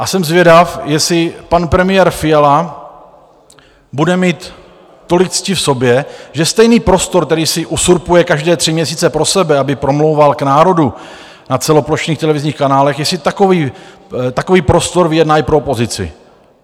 A jsem zvědav, jestli pan premiér Fiala bude mít tolik cti v sobě, že stejný prostor, který si uzurpuje každé tři měsíce pro sebe, aby promlouval k národu na celoplošných televizních kanálech, jestli takový prostor vyjedná i pro opozici.